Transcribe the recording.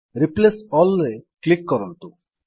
replace Allରେ click କରନ୍ତୁ